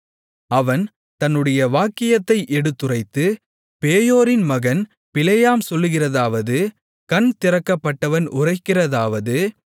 அவன் தன்னுடைய வாக்கியத்தை எடுத்துரைத்து பேயோரின் மகன் பிலேயாம் சொல்லுகிறதாவது கண் திறக்கப்பட்டவன் உரைக்கிறதாவது